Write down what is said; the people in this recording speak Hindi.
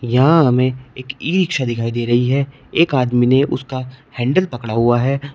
यहां हमें एक ई रिक्शा दिखाई दे रही है एक आदमी ने उसका हैंडल पकड़ा हुआ है।